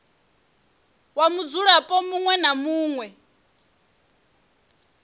wa mudzulapo muṅwe na muṅwe